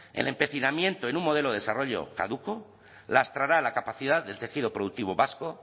el empecinamiento en un modelo de desarrollo caduco lastrará la capacidad del tejido productivo vasco